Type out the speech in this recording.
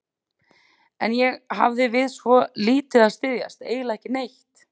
En ég hafði við svo lítið að styðjast, eiginlega ekki neitt.